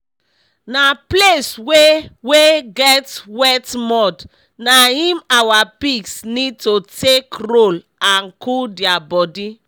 na place wey wey get wet mud na im our pigs need to take roll and cool dia body